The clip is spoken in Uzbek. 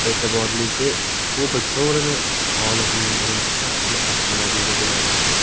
E’tiborlisi, Cobalt sovrini g‘olibning birinchi shaxsiy avtomobili bo‘ladi.